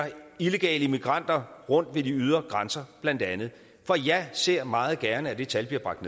illegale immigranter rundt ved de ydre grænser for jeg ser meget gerne at det tal bliver bragt